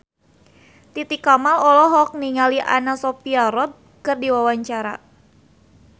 Titi Kamal olohok ningali Anna Sophia Robb keur diwawancara